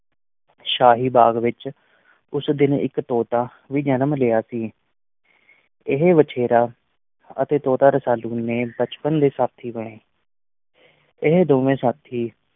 ਸ਼ਾਹੀ ਬਾਗ਼ ਵਿੱਚ ਉਸ ਦਿਨ ਇੱਕ ਤੋਤਾ ਵੀ ਜਨਮ ਲਿਆ ਸੀ ਇਹ ਵਛੇਰਾ ਅਤੇ ਤੋਤਾ ਰਸਾਲੂ ਦੇ ਬਚਪਨ ਦੇ ਸਾਥੀ ਬਣੇ ਇਹ ਦੋਵੇਂ ਸਾਥੀ